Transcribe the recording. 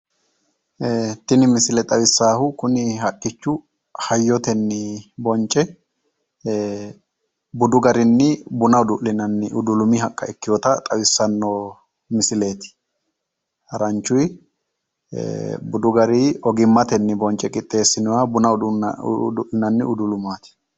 Tini misile xawissaahu kuni haqqichu hayyotenni bonce budu garinni buna uddu'linanni haqqa ikkewoota xawissanno misileeti. haranchuyi budu garii ogimmate bonce qixxeessinoyi buna udu'linanni bunu udulumaati.